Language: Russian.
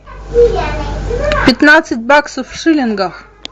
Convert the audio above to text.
пятнадцать баксов в шиллингах